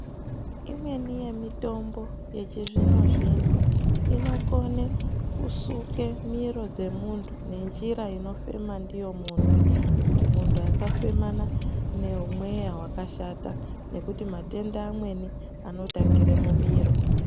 Imweni yemitombo yechizvino zvino inokone kusuke miro dzemuntu nenjira inofema ndiyo muntu kuti muntu asafemana nemweya wakashata nekuti matenda amweni anotangire mumiro.